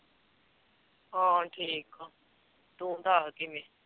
ਹਾਂ ਠੀਕ ਹਾਂ, ਤੂੰ ਦੱਸ ਕਿਵੇਂ